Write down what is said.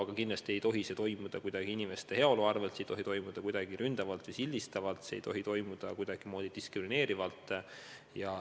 Aga kindlasti ei tohi midagi otsustada inimeste heaolu arvel ja kuidagi ründavalt või sildistavalt, kuidagi diskrimineerivalt.